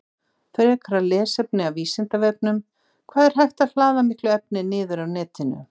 Frekara lesefni af Vísindavefnum: Hvað er hægt að hlaða miklu efni niður af netinu?